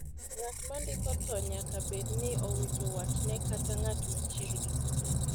ngat ma ndiko tho nyaka bed ni owito watne kata ngat ma chiegni kode